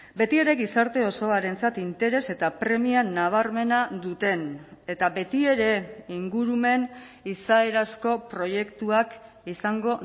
betiere gizarte osoarentzat interes eta premia nabarmena duten eta betiere ingurumen izaerazko proiektuak izango